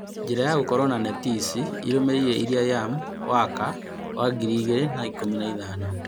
Njĩra ya gũkorũo na neti ici ĩrũmĩrĩire ĩrĩa yam waka wa 2015